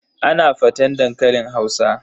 Ana faten dankalin Hausa.